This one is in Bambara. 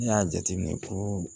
Ne y'a jateminɛ ko